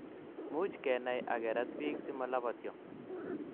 much kenai akerat piik si malaptio